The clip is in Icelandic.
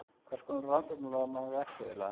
Hvers konar rannsóknarlögreglumaður ertu eiginlega?